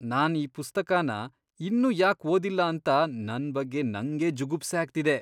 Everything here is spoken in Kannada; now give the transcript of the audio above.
ನಾನ್ ಈ ಪುಸ್ತಕನ ಇನ್ನೂ ಯಾಕ್ ಓದಿಲ್ಲ ಅಂತ ನನ್ ಬಗ್ಗೆ ನಂಗೇ ಜುಗುಪ್ಸೆ ಆಗ್ತಿದೆ.